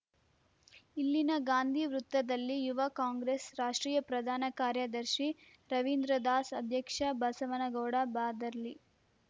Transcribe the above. ಇಲ್ಲಿನ ಗಾಂಧಿ ವೃತ್ತದಲ್ಲಿ ಯುವ ಕಾಂಗ್ರೆಸ್‌ ರಾಷ್ಟ್ರೀಯ ಪ್ರಧಾನ ಕಾರ್ಯದರ್ಶಿ ರವೀಂದ್ರದಾಸ್‌ ಅಧ್ಯಕ್ಷ ಬಸವನಗೌಡ ಬಾದರ್ಲಿ